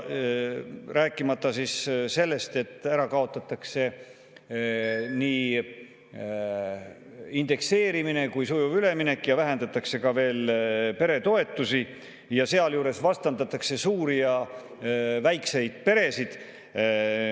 Rääkimata sellest, et ära kaotatakse nii indekseerimine kui ka sujuv üleminek ja vähendatakse veel peretoetusi ning sealjuures vastandatakse suuri ja väikseid peresid.